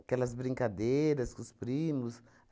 aquelas brincadeiras com os primos.